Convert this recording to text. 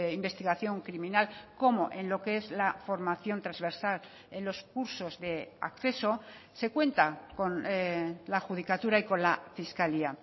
investigación criminal como en lo que es la formación transversal en los cursos de acceso se cuenta con la judicatura y con la fiscalía